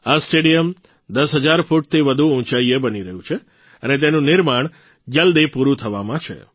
આ સ્ટેડિયમ દસ હજાર ફૂટથી વધુ ઉંચાઇએ બની રહ્યું છે અને તેનું નિર્માણ જલદી પૂરૂં થવામાં છે